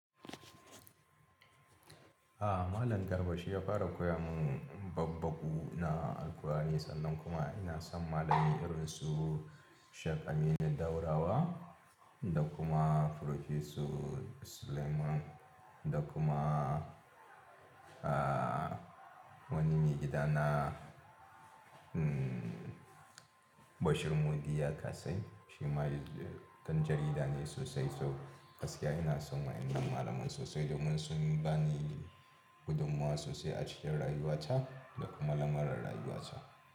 A'a malam Garba shi ya fara koya mun babbagu na al'kur'ani sannan kuma ina san malami irin su Sheikh Aminu Daurawa da kuma professor Sulaiman da kuma, ah, wani megida na, mmh, Bashir Mudi Yakasai. Shi ma dai ɗan jarida ne sosai, so gaskiya ina son wa'innan malaman sosai domin sun bani gudummawa sosai a cikin rayuwata da kuma lamurar rayuwata.